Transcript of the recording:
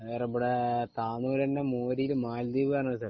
ഇവിടെ താനൂര് ഇവിടെന്നെ